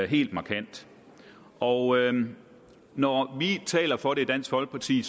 helt markant og når vi taler for det i dansk folkeparti